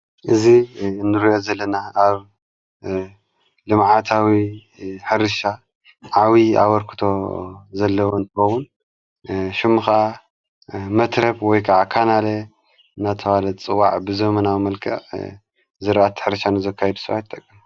እዚ እንርዮ ዘለና ኣብ ልማዓታዊ ሕርሻ ዓዊ ኣበርክቶ ዘለወ እንትበዉን ሹምኻ መትረብ ወይ ከዓ ካናለ ናታዋለት ጽዋዕ ብዘመናዊ መልቀዕ ዝርአቲ ሕርሻ ንዘካይብስዋ ይጠቀም።